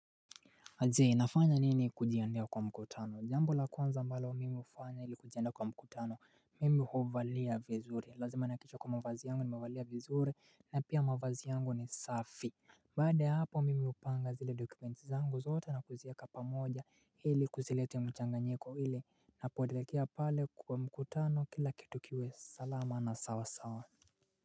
Aise nafanya nini kujiandaa kwa mkutano jambo la kwanza ambalo wa mimi hufanya ili kujiandaa kwa mkutano mimi huvalia vizuri lazima nihakikishe kwa mavazi yangu ni mavazi vizuri na pia mavazi yangu ni safi Baada ya hapo mimi hupanga zile dokumenti zangu zote na kuziweka pamoja ili kusilete mchanganyiko ili napoelekea pale kwa mkutano kila kitu kiwe salama na sawa sawa.